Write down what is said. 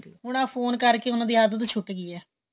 ਹੁਣ ਆਂ ਫੋਨ ਕਰ੍ਕੇ ਉਹਨਾ ਦੀ ਆਦਤ ਛੁੱਟ ਗਈ ਏ